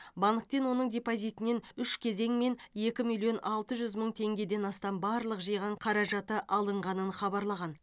банктен оның депозитінен үш кезеңмен екі миллион алты жүз мың теңгеден астам барлық жиған қаражаты алынғанын хабарлаған